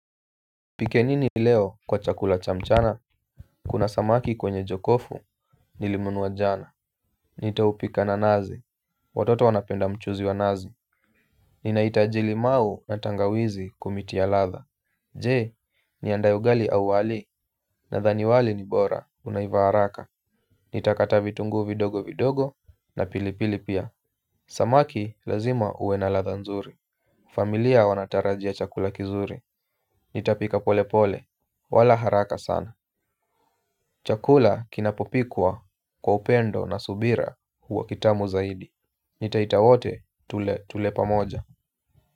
Tupike nini leo kwa chakula cha mchana? Kuna samaki kwenye jokofu, nilinunua jana. Nitaupika na nazi, watoto wanapenda mchuzi wa nazi. Ninahitaji limau na tangawizi kutia ladha. Je, niandae ugali au wali, nadhani wali ni bora, unaiva haraka. Nitakata vitungu vidogo vidogo, na pilipili pia. Samaki lazima uwe na ladha nzuri. Familia wanatarajia chakula kizuri. Nitapika pole pole. Wala haraka sana. Chakula kinapopikwa kwa upendo na subira huwa kitamu zaidi. Nitaita wote tule pamoja.